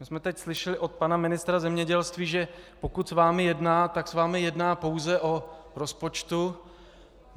My jsme teď slyšeli od pana ministra zemědělství, že pokud s vámi jedná, tak s vámi jedná pouze o rozpočtu.